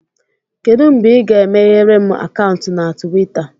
Kedụ mgbe ị ga-emeghere m akaụntụ na Tuweeta?